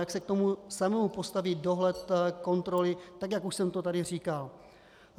Jak se k tomu samému postaví dohled, kontroly, tak jak už jsem to tady říkal?